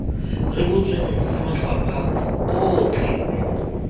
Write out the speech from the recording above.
rebotsweng sa mafapha otlhe mo